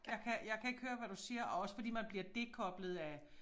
Jeg kan jeg kan ikke høre hvad du siger og også fordi man bliver dekoblet af